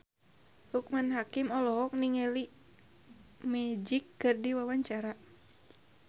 Loekman Hakim olohok ningali Magic keur diwawancara